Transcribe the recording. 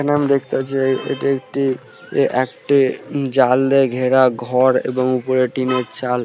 এইখানে আমি দেখতে পাচ্ছি এটি একটি একটি উম জাল দিয়ে ঘেরা ঘর এবং ওপরে টিনের চাল।